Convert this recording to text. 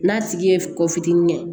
N'a tigi ye kɔ fitinin kɛ